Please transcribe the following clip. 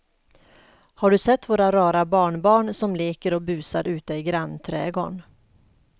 Har du sett våra rara barnbarn som leker och busar ute i grannträdgården!